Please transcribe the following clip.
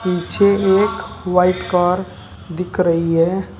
पीछे एक white car दिख रही है।